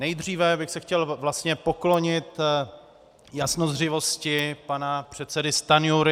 Nejdříve bych se chtěl vlastně poklonit jasnozřivosti pana předsedy Stanjury.